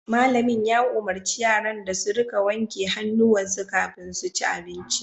Malamin ya umurci yaran da su rika wanke hannuwa kafin su ci abinci